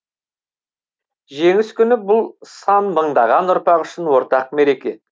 жеңіс күні бұл сан мыңдаған ұрпақ үшін ортақ мереке